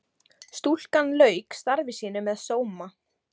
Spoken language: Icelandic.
Stúlkan lauk starfi sínu með sóma.